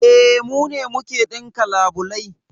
E, mu ne muke ɗinka labulai